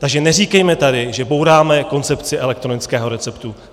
Takže neříkejme tady, že bouráme koncepci elektronického receptu.